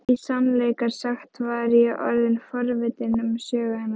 Í sannleika sagt var ég orðin forvitin um sögu hennar.